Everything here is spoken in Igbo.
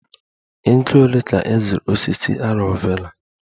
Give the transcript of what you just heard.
Ego ole ka ị zụrụ osisi aloe Vera?